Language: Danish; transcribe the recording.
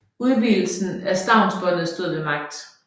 Udvidelsen af stavnsbåndet stod ved magt